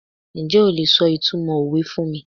Njẹ́ o lè sọ ìtumọ̀ òwe fún mi?